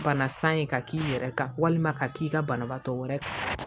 Bana san ye ka k'i yɛrɛ kan walima ka k'i ka banabaatɔ wɛrɛ kan